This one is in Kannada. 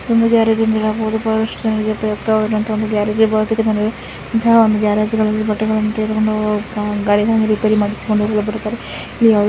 ಬಹಳ ಉಪಯುಕ್ತವಾದ ಗ್ಯಾರೇಜ್ ಇರಬಹುದು ಗ್ಯಾರೇಜ್ ಗಳಲ್ಲಿ ಗಾಡಿಯನ್ನು ರಿಪೈರಿ ಇಂತಹ ಒಂದು ಗ್ಯಾರೇಜ್ಗಳಲ್ಲಿ ಗಾಡಿಗಳನ್ನು ತೆಗೆದುಕೊಂಡು ಹೋಗಿ ರಿಪೇರಿ ಮಾಡಿಸಿಕೊಂಡು ಬರುತ್ತಾರೆ.